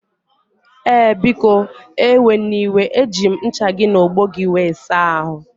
Ee, biko eweniwe eji m ncha gị na ogbo gị wee saa ahụ